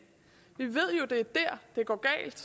er der det går galt